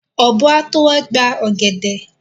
Ọ̀bọ́ á tó wá gba ọ̀gẹ̀dẹ̀.